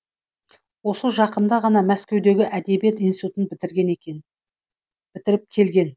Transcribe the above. осы жақында ғана мәскеудегі әдебиет институтын бітіріп екен